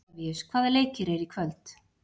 Oktavíus, hvaða leikir eru í kvöld?